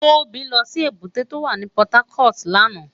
Tobi lò si ébùté tó wá ni Pòtákòt làná